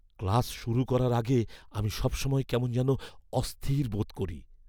Class শুরু করার আগে আমি সবসময় কেমন যেন অস্থির বোধ করি।